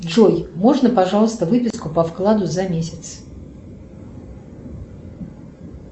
джой можно пожалуйста выписку по вкладу за месяц